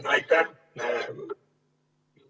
Aitäh!